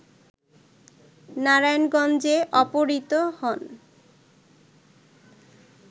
নারায়ণগঞ্জে অপহৃত হন